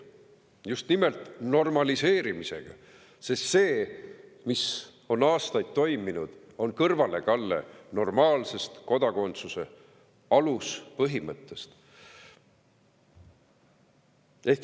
Just nimelt normaliseerimisega, sest see, mis on aastaid toimunud, on kõrvalekalle normaalsest kodakondsuse aluspõhimõttest.